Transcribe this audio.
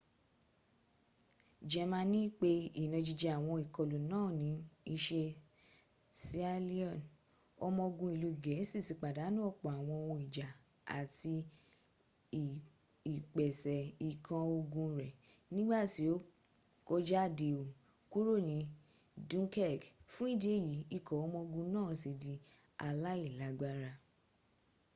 jẹmaní pẹ ìnajíjẹ́ àwọn ìkolù náà ní isẹ́ sealion ọmọ ogun iìú gẹ̀ẹ́si ti pàdánù ọ̀pọ̀ àwọn ohun ìjà àti ìpẹ̀sẹ̀ ikan ogun rẹ nígbàtí o kójádẹo kúrò ní dunkirk fún ìdí èyí ikọ̀ ọmọ ogun náà ti di alàílágbára